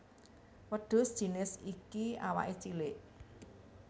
Wêdhus jinis iki awaké cilik